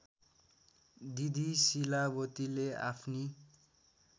दिदी शीलावतीले आफ्नी